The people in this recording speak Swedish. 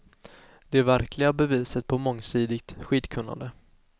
Det verkliga beviset på mångsidigt skidkunnande.